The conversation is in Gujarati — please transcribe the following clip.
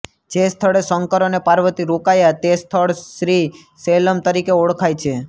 જે સ્થળે શંકર અને પાર્વતી રોકાયા તે સ્થળ શ્રી શૈલમ તરીકે ઓળખાય છે